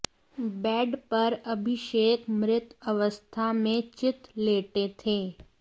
bed पर अभिषेक मृत अवस्था में चित लेटे थे